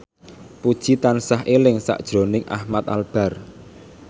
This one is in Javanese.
Puji tansah eling sakjroning Ahmad Albar